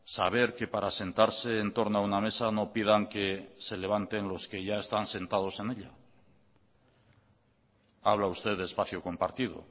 saber que para sentarse en torno a una mesa no pidan que se levanten los que ya están sentados en ella habla usted de espacio compartido